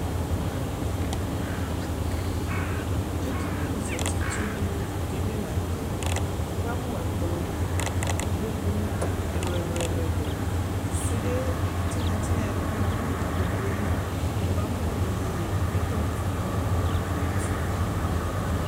Ɛdιnι zati tulu di bi la ntɛWuka mu ɛkplɔ, ikpoku ɛluɛluɛluɛluSude tinya tinya di ni bi du ikpoku yɛ li